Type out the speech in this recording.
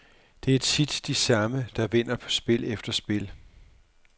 Det er tit de samme, der vinder spil efter spil.